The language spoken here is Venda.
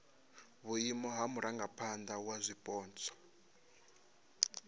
vhuimo ha murangaphana wa zwipotso